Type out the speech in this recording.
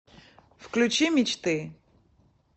включи мечты